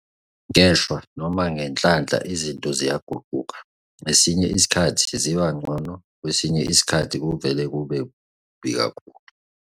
Ngeshwa, noma ngenhlanhla izinto ziyaguquka - ngesinye isikhathi ziba ngcono, kwesinye isikhathi kuvele kube kubi kakhulu.